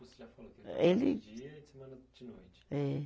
Você já falou que ele trabalhava dia e semana de noite. É.